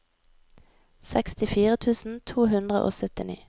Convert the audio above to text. sekstifire tusen to hundre og syttini